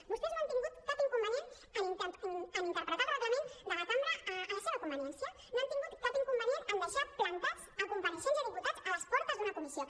vostès no han tingut cap inconvenient en interpretar el reglament de la cambra a la seva conveniència no han tingut cap inconvenient en deixar plantats compareixents i diputats a les portes d’una comissió